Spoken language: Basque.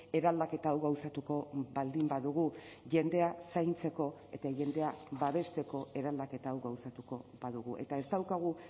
eraldaketa hau gauzatuko baldin badugu jendea zaintzeko eta jendea babesteko eraldaketa hau gauzatuko badugu eta ez daukagu